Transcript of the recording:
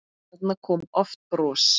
Þarna kom oft bros.